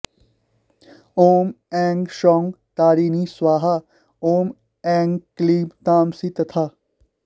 ॐ ऐं सौः तारिणी स्वाहा ॐ ऐं क्लीं तामसी तथा